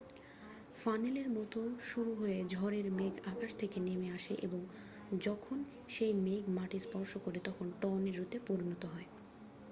"ফানেলের মতো শুরু হয়ে ঝড়ের মেঘ আকাশ থেকে নেমে আসে এবং যখন সেই মেঘ মাটি স্পর্শ করে তখন "টর্নেডো" -তে পরিণত হয়।